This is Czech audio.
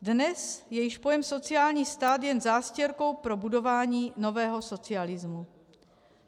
Dnes je již pojem sociální stát jen zástěrkou pro budování nového socialismu.